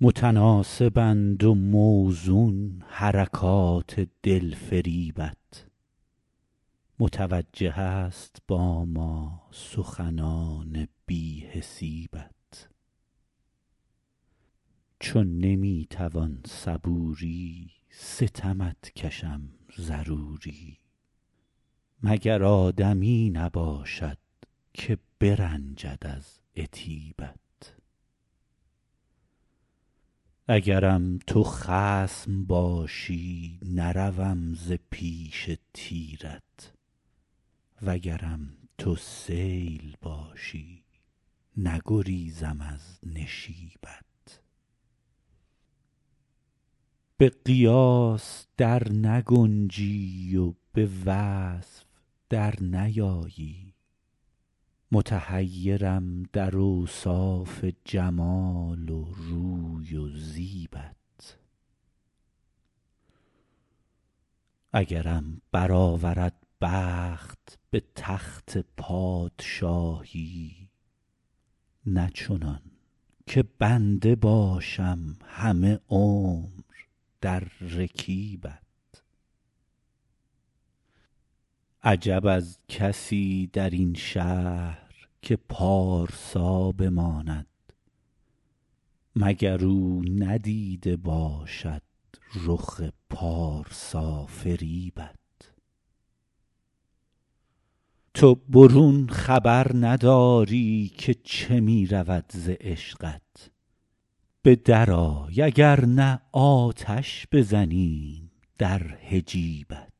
متناسبند و موزون حرکات دلفریبت متوجه است با ما سخنان بی حسیبت چو نمی توان صبوری ستمت کشم ضروری مگر آدمی نباشد که برنجد از عتیبت اگرم تو خصم باشی نروم ز پیش تیرت وگرم تو سیل باشی نگریزم از نشیبت به قیاس در نگنجی و به وصف در نیایی متحیرم در اوصاف جمال و روی و زیبت اگرم برآورد بخت به تخت پادشاهی نه چنان که بنده باشم همه عمر در رکیبت عجب از کسی در این شهر که پارسا بماند مگر او ندیده باشد رخ پارسافریبت تو برون خبر نداری که چه می رود ز عشقت به درآی اگر نه آتش بزنیم در حجیبت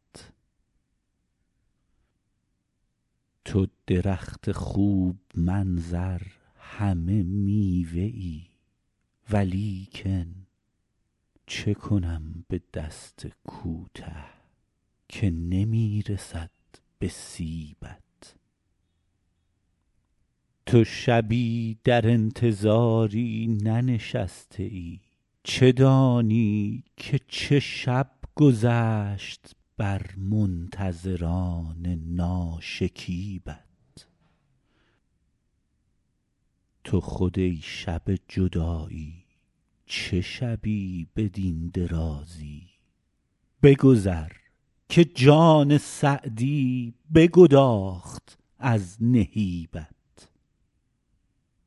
تو درخت خوب منظر همه میوه ای ولیکن چه کنم به دست کوته که نمی رسد به سیبت تو شبی در انتظاری ننشسته ای چه دانی که چه شب گذشت بر منتظران ناشکیبت تو خود ای شب جدایی چه شبی بدین درازی بگذر که جان سعدی بگداخت از نهیبت